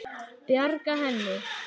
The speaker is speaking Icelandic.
Bjarga henni?